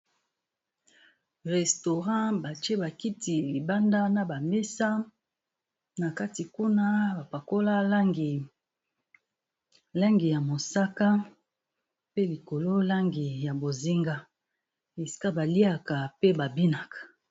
Restaurant batie ba kiti libanda, na ba mesa, na kati kuna ba pakola langi ya mosaka, pe likolo langi ya bozinga, esika ba liaka pe ba binaka.